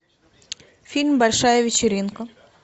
фильм большая вечеринка